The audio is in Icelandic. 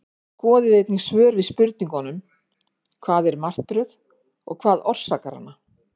Skoðið einnig svör við spurningunum Hvað er martröð og hvað orsakar hana?